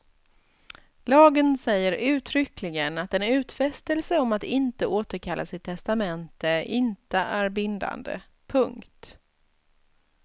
Lagen säger uttryckligen att en utfästelse om att inte återkalla sitt testamente inte är bindande. punkt